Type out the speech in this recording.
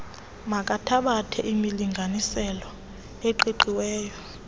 makathabathe imilinganiselo eqiqiweyo